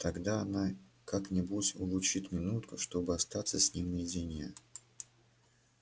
тогда она как-нибудь улучит минутку чтобы остаться с ним наедине